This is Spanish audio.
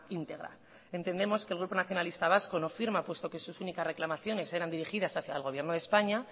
íntegra entendemos que el grupo nacionalista vasco no firma puesto que sus únicas reclamaciones eran dirigidas hacia el gobierno de españa